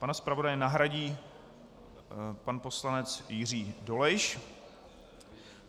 Pana zpravodaje nahradí pan poslanec Jiří Dolejš.